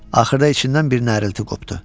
Axırda içindən bir nərilti qopdu.